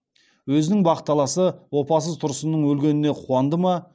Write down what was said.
өзінің бақталасы опасыз тұрсынның өлгеніне қуанды ма